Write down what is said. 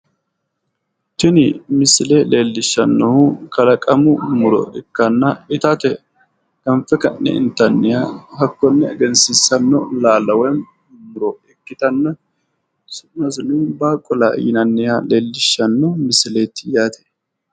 Tini misile leellishannohu kalaqamu muro ikkanna itate ganfe ka'ne itanniha hakkonne egehsiinsaniha su'masi baaqula yinaniha leellishshano misileeti yaate.